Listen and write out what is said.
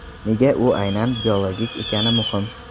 Nega u aynan biologik ekani muhim?